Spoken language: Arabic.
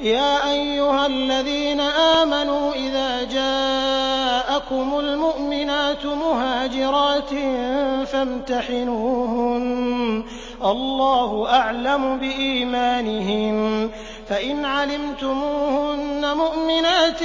يَا أَيُّهَا الَّذِينَ آمَنُوا إِذَا جَاءَكُمُ الْمُؤْمِنَاتُ مُهَاجِرَاتٍ فَامْتَحِنُوهُنَّ ۖ اللَّهُ أَعْلَمُ بِإِيمَانِهِنَّ ۖ فَإِنْ عَلِمْتُمُوهُنَّ مُؤْمِنَاتٍ